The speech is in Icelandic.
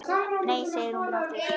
Nei segir hún aftur.